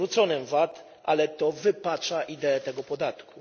odwróconym VAT, ale to wypacza ideę tego podatku.